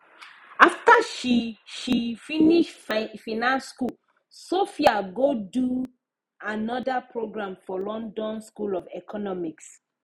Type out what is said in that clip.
after she she finish finance school sophia go do another program for london school of economics